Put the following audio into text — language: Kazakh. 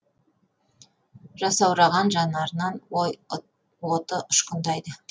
жасаураған жанарынан ой оты ұшқындайды